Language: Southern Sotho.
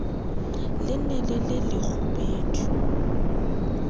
le ne le le lekgubedu